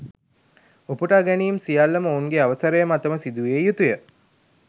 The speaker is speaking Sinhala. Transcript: උපුටා ගැනීම් සියල්ලම ඔවුන්ගේ අවසරය මතම සිදුවිය යුතුය